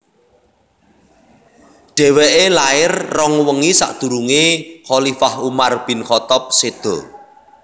Dhèwèké lair rong wengi sakdurungé khalifah Umar bin Khaththab séda